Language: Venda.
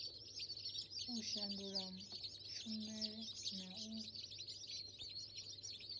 u shandula tshumela na u